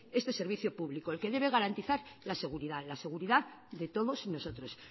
este servicio público el que debe garantizar la seguridad la seguridad de todos nosotros